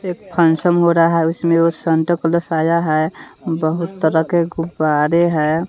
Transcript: एक फंक्शन हो रहा है उसमें वो संता क्लॉस आया है बहुत तरह के गुब्बारे है।